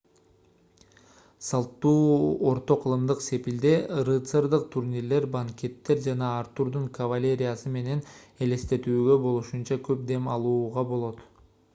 салттуу орто кылымдык сепилде рыцардык турнирлер банкеттер жана артурдун кавалериясы менен элестетүүгө болушунча көп дем алууга болот